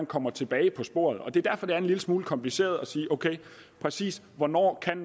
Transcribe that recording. kommer tilbage på sporet det er derfor det er en lille smule kompliceret at sige præcis hvornår